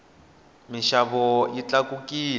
minxavo yi tlakukile